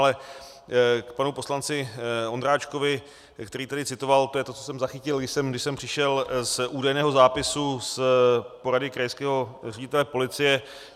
Ale k panu poslanci Ondráčkovi, který tady citoval, to je to, co jsem zachytil, když jsem přišel, z údajného zápisu z porady krajského ředitele policie.